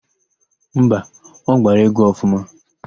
Mba, ọ gbara égwú ọfụma.